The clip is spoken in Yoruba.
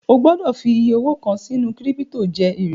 O gbọ́dọ̀ fi iyẹ owó kàn sínú kírípítò jẹ èrè